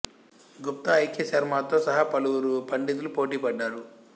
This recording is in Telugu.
గుప్తా ఐ కె శర్మతో సహా పలువురు పండితులు పోటీ పడ్డారు